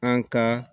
An ka